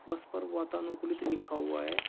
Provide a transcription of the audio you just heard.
उस पर वातानुकूलित लिखा हुआ है।